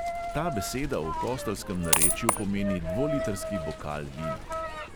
Ta beseda v kostelskem narečju pomeni dvolitrski bokal vina.